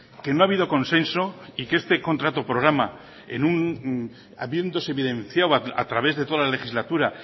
que no ha habido consenso y que este contrato programa habiéndose evidenciado a través de toda la legislatura